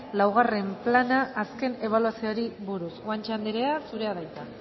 laugarren plana azken ebaluazioari buruz guanche anderea zurea da hitza